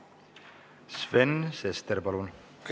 Sven Sester, palun!